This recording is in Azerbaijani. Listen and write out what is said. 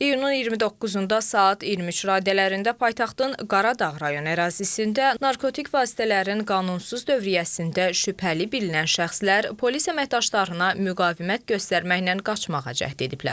İyunun 29-da saat 23 radələrində paytaxtın Qaradağ rayonu ərazisində narkotik vasitələrin qanunsuz dövriyyəsində şübhəli bilinən şəxslər polis əməkdaşlarına müqavimət göstərməklə qaçmağa cəhd ediblər.